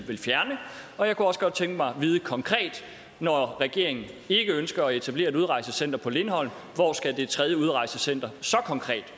vil fjerne og jeg kunne også godt tænke mig at vide når regeringen ikke ønsker at etablere et udrejsecenter på lindholm hvor skal det tredje udrejsecenter så konkret